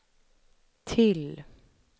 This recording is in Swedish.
till